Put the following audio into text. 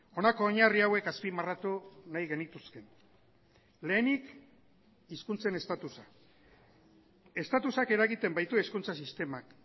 honako oinarri hauek azpimarratu nahi genituzke lehenik hizkuntzen estatusa estatusak eragiten baitu hezkuntza sistemak